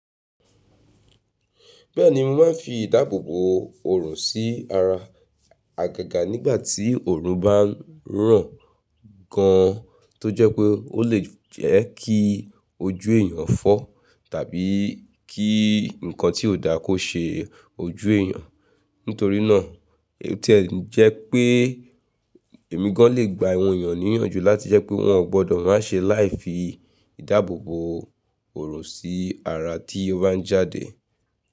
Bẹ́ẹ̀ni, mo máa ń fi ìdáàbòbò òrùn sí ara àgàgà nígbà tí òrùn bá ń ràn gan an tó jẹ́ pé ó lè jẹ́ kí ojú èèyàn fọ́ tàbí kí nǹkan tí ò dáko ṣe ojú èèyàn. Nítorí náà, èyí tẹ́ ń jẹ́ pé èmi gan an lè gba awọ̀n èèyàn níyànjú láti jẹ́ pé wọ́n ò gbọdọ̀ má ṣe life yi ìdáàbòbò òrùn sí ara tí ó bá ń jáde.